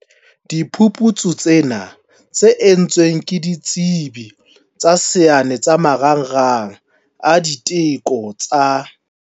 Diphuputsu tsena, tse entsweng ke ditsebi tsa saene tsa Marangrang a Diteko tsa